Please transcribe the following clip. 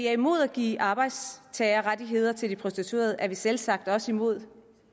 er imod at give arbejdstagerrettigheder til prostituerede er vi selvsagt også imod